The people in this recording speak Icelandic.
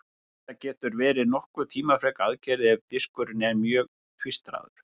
Þetta getur verið nokkuð tímafrek aðgerð ef diskurinn er mjög tvístraður.